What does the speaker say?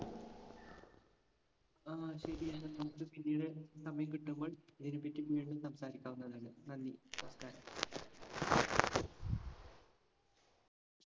ആഹ് ശെരി. എന്നാ നമ്മുക്ക് പിന്നീട് സമയം കിട്ടുമ്പോള്‍ ഇതിനെപ്പറ്റി വീണ്ടും സംസാരിക്കാവുന്നതാണ്. നന്ദി.